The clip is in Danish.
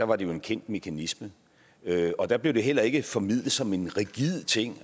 var det jo en kendt mekanisme og der blev det heller ikke formidlet som en rigid ting